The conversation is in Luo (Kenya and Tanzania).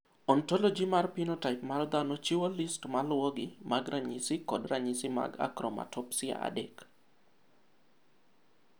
Ontoloji mar Pinotaip mar Dhano chiwo list maluwogi mag ranyisi kod ranyisi mag Akromatopsia 3.